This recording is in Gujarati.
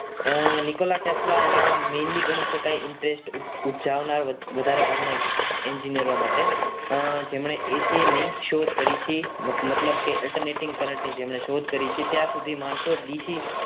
Nikola Tesla માં mainly ગણી શકાય interest ઉપજાવનાર વધારાના engineer માટે તેમણે એસી ની શોધ કરી છે મતલબ કે alternative current ની જેમણે શોધ કરી છે ત્યાં સુધી માણસો ડીસી